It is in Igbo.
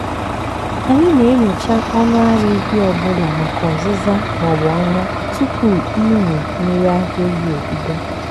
anyị na-enyocha ọnụ ara ehi ọ bụla maka ọzịza ma ọ bụ ọnya tupu ịmị mmiri ara ehi ebido.